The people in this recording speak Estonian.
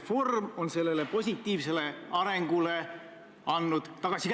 Mõnikord kõnelevad ju pildid rohkem kui tuhat sõna, nagu öeldakse.